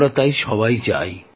আমরা সবাই যাই